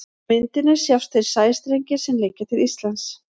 Á myndinni sjást þeir sæstrengir sem liggja til Íslands.